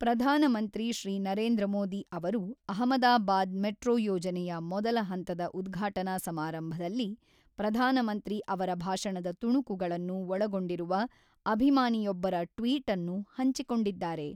ಪ್ರಧಾನಮಂತ್ರಿ ಶ್ರೀ ನರೇಂದ್ರ ಮೋದಿ ಅವರು ಅಹಮದಾಬಾದ್ ಮೆಟ್ರೋ ಯೋಜನೆಯ ಮೊದಲ ಹಂತದ ಉದ್ಘಾಟನಾ ಸಮಾರಂಭದಲ್ಲಿ ಪ್ರಧಾನಮಂತ್ರಿ ಅವರ ಭಾಷಣದ ತುಣುಕುಗಳನ್ನು ಒಳಗೊಂಡಿರುವ ಅಭಿಮಾನಿಯೊಬ್ಬರ ಟ್ವೀಟ್ಅನ್ನು ಹಂಚಿಕೊಂಡಿದ್ದಾರೆ.